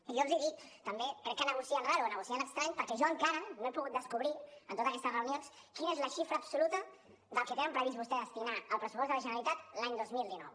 i jo els dic també crec que negocien raro o negocien estranyament perquè jo encara no he pogut descobrir en totes aquestes reunions quina és la xifra absoluta del que tenen previst vostès destinar al pressupost de la generalitat l’any dos mil dinou